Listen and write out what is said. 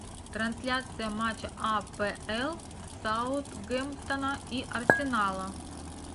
трансляция матча апл саутгемптона и арсенала